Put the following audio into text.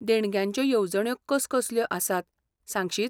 देणग्यांच्यो येवजण्यो कसकसल्यो आसात सांगशीत?